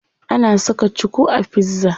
Ana saka cuku a pizza.